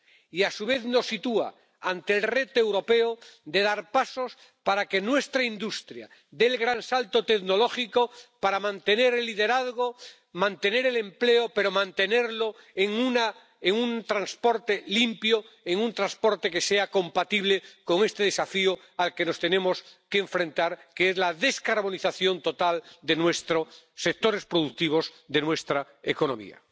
Y, a su vez, nos sitúa ante el reto europeo de dar pasos para que nuestra industria dé el gran salto tecnológico para mantener el liderazgo, mantener el empleo, pero mantenerlo en un transporte limpio, en un transporte que sea compatible con este desafío al que nos tenemos que enfrentar, que es la descarbonización total de nuestros sectores productivos, de nuestra economía.